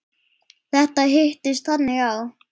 Þetta hittist þannig á.